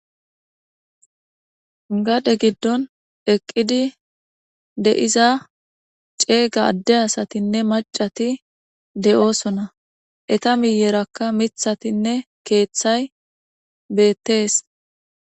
Gade giddon eqqidi de7iza ceega addeyasatinne macati de7oosona eta miyerakka mithatinne keeththay beettees.